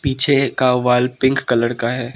पीछे का wall pink colour का है।